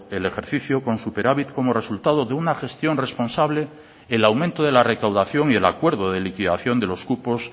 el ejercicio con superávit como resultado de una gestión responsable el aumento de la recaudación y el acuerdo de liquidación de los cupos